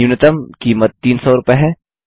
न्यूनतम कीमत 300 रूपये है